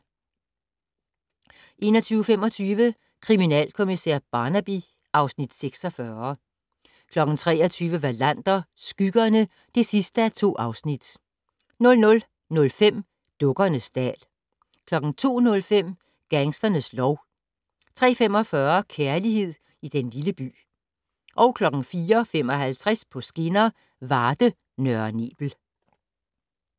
21:25: Kriminalkommissær Barnaby (Afs. 46) 23:00: Wallander: Skyggerne (2:2) 00:05: Dukkernes dal 02:05: Gangsternes lov 03:45: Kærlighed i den lille by 04:55: På skinner: Varde-Nørre Nebel